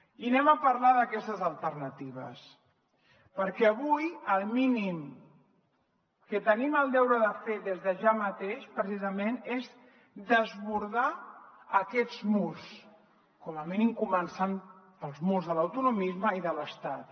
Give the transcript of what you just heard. i parlarem d’aquestes alternatives perquè avui el mínim que tenim el deure de fer des de ja mateix precisament és desbordar aquests murs com a mínim començant pels murs de l’autonomisme i de l’estat